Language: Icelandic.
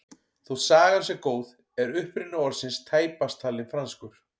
Þótt sagan sé góð er uppruni orðsins tæpast talinn franskur.